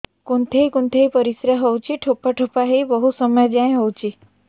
କୁନ୍ଥେଇ କୁନ୍ଥେଇ ପରିଶ୍ରା ହଉଛି ଠୋପା ଠୋପା ହେଇ ବହୁତ ସମୟ ଯାଏ ହଉଛି